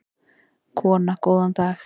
Kona: Góðan daginn.